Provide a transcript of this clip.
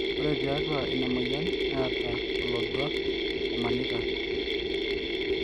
ore tiatua ina moyian neeta olodua omanita